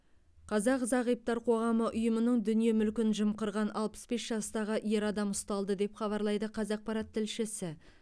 қазақ зағиптар қоғамы ұйымының дүние мүлкін жымқырған алпыс бес жастағы ер адам ұсталды деп хабарлайды қазақпарат тілшісі